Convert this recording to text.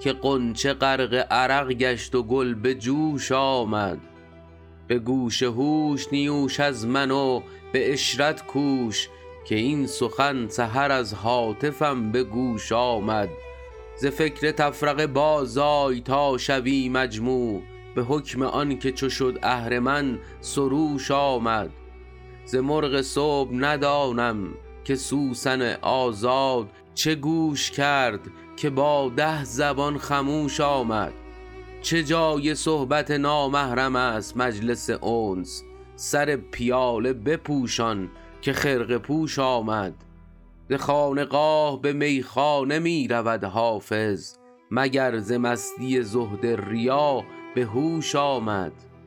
که غنچه غرق عرق گشت و گل به جوش آمد به گوش هوش نیوش از من و به عشرت کوش که این سخن سحر از هاتفم به گوش آمد ز فکر تفرقه بازآی تا شوی مجموع به حکم آن که چو شد اهرمن سروش آمد ز مرغ صبح ندانم که سوسن آزاد چه گوش کرد که با ده زبان خموش آمد چه جای صحبت نامحرم است مجلس انس سر پیاله بپوشان که خرقه پوش آمد ز خانقاه به میخانه می رود حافظ مگر ز مستی زهد ریا به هوش آمد